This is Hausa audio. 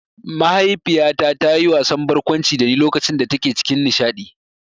Mahaifiyata ta yi wasan barkwanci dani lokacin da take cikin nishaɗi